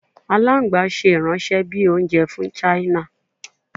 Alagban ṣe iranṣẹ bi ounjẹ fun china